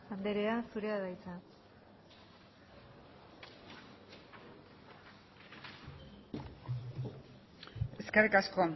andrea zurea da hitza eskerrik asko